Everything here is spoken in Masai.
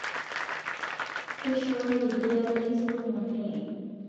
Keishooki ldeia lai sumu neye